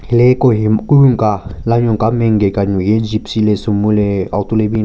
Hile Kohim Kehunyu ka lanyo nke main gate ka nyuki gypsy le sumo le auto le bin chra--